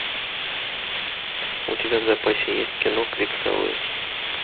у тебя в запасе есть кино крик совы